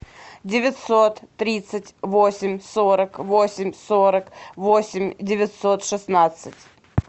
девятьсот тридцать восемь сорок восемь сорок восемь девятьсот шестнадцать